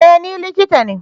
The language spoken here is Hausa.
E! Ni likita ne.